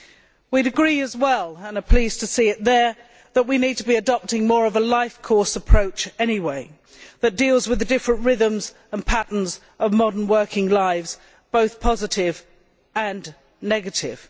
We would agree as well and are pleased to see it there that we need to be adopting more of a life course approach that deals with the different rhythms and patterns of modern working lives, both positive and negative.